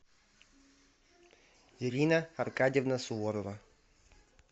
ирина аркадьевна суворова